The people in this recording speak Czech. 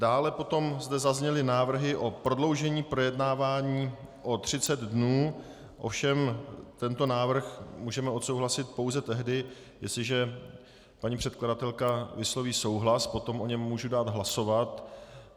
Dále potom zde zazněly návrhy na prodloužení projednávání o 30 dnů, ovšem tento návrh můžeme odsouhlasit pouze tehdy, jestliže paní předkladatelka vysloví souhlas - potom o něm můžu dát hlasovat.